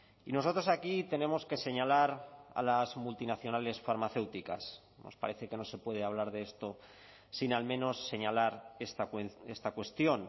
y nosotros aquí tenemos que señalar a las multinacionales farmacéuticas nos parece que no se puede hablar de esto sin al menos señalar esta cuestión